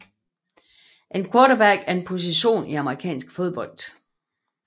En quarterback er en position i amerikansk fodbold